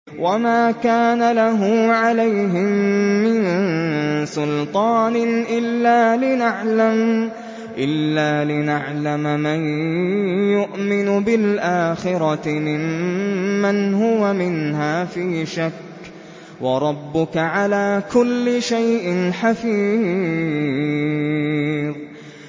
وَمَا كَانَ لَهُ عَلَيْهِم مِّن سُلْطَانٍ إِلَّا لِنَعْلَمَ مَن يُؤْمِنُ بِالْآخِرَةِ مِمَّنْ هُوَ مِنْهَا فِي شَكٍّ ۗ وَرَبُّكَ عَلَىٰ كُلِّ شَيْءٍ حَفِيظٌ